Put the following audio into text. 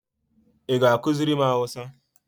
Ị ga ekuziri m hausa?